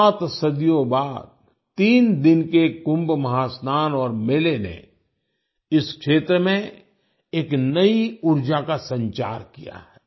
सात सदियों बाद तीन दिन के कुंभ महास्नान और मेले ने इस क्षेत्र में एक नई ऊर्जा का संचार किया है